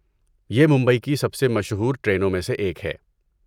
یہ ممبئی کی سب سے مشہور ٹرینوں میں سے ایک ہے۔